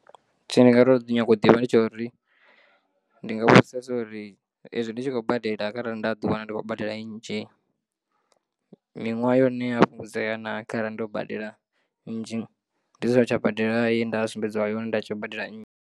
Tshine ndi nga to nyanga u ḓivha ndi tsha uri ndi nga vhudzisesa uri ezwi ndi tshi khou badela kharali nda ḓi wana ndi khou badela nnzhi, miṅwaha ya hone iya fhungudzea naa kharali ndo badela nnzhi ndi songo tsha badela ye nda sumbedziwa uri nda si tsha badela nnzhi.